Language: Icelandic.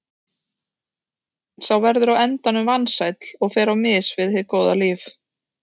Sá verður á endanum vansæll og fer á mis við hið góða líf.